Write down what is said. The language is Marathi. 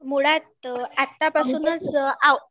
मुळात आतापासूनच